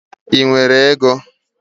Ị nwere ego?